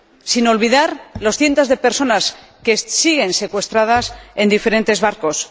Sin olvidar los cientos de personas que siguen secuestradas en diferentes barcos.